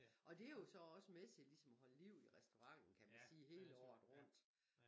Og det jo så også med til at holde liv i restauranten kan man sige hele året rundt